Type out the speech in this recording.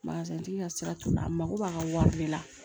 tigi ka sira t'u la a mako b'a ka wari de la